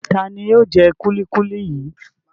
Ta ni yóò jẹ kúlíkúlí yìí?